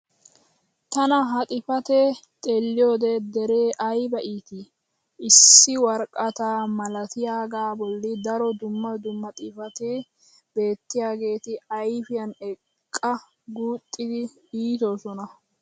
tana ha xifatee xeelliyoode dere ayba iittii! issi woraqataa malattiyaagaa boli daro dumma dumma xifatetti beetiyaageeti ayfiyan eqqa guuxxidi iitoosona.